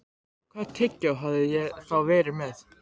Hvaða tyggjó hafði ég þá verið með?